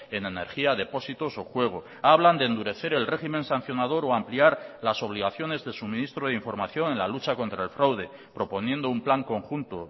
en energía depósitos o juego hablan de endurecer el régimen sancionador o ampliar las obligaciones de suministro de información en la lucha contra el fraude proponiendo un plan conjunto